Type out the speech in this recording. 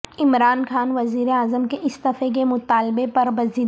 عمران خان وزیراعظم کے استعفے کے مطالبے پر بضد